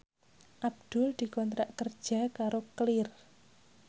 Abdul dikontrak kerja karo Clear